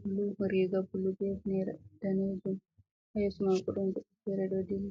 bulu be hifnere danejum ha yeso mako ɗon goɗɗo fere ɗo dilla.